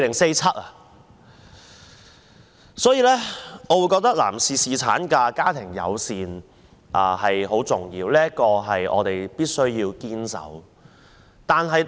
因此，我覺得男士侍產假及家庭友善政策很重要，我們必須堅守。